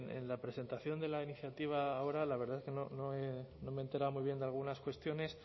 en la presentación de la iniciativa ahora la verdad es que no me he enterado muy bien de algunas cuestiones